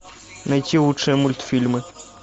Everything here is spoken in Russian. найти лучшие мультфильмы